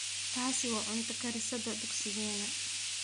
taasi waa cunto karisadha dugsigeena